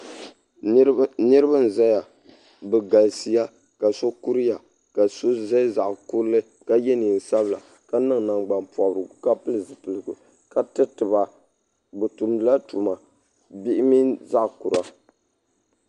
niriba n zaya bɛ galisiya ka so kuriya ka so zaya zaɣ' kuri ka yɛ nɛnsabila ka nɛŋ nangbani porigu ka pɛli ziligu ka tɛriba bɛ tumdila tuma bihi mini zaɣ' kura